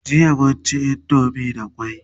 jiya mun ci indomie da kwai